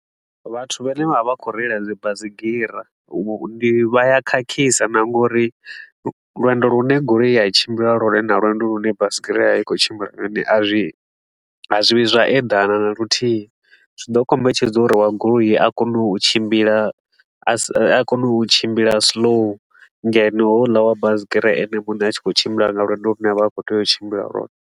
Vhathu vhane vha vha khou reila dzi baisigira, ndi vha ya khakhisa na nga uri lwendo lune goloi ya tshimbila lwone ndi lwendo lune baisigira ya vha i khou tshimbila lwone, a zwi a zwi vhi zwa eḓana na luthihi. Zwi ḓo kombetshedza uri wa goloi a kone u tshimbila a kone u tshimbila slow ngeno houḽa wa baisigira ene a tshi khou tshimbila nga lwendo lune a vha a khou tea u tshimbila lwone.